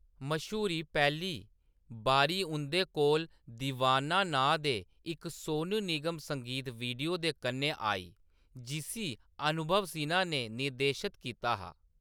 मश्हूरी पैह्‌ली बारी उंʼदे कोल 'दीवाना' नांऽ दे इक सोनू निगम संगीत वीडियो दे कन्नै आई, जिसी अनुभव सिन्हा ने निर्देशत कीता हा।